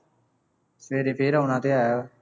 ਸਵੇਰੇ ਫੇਰ ਆਉਣਾ ਤੇ ਹੈ